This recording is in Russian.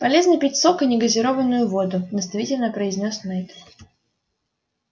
полезно пить сок и негазированную воду наставительно произнёс найд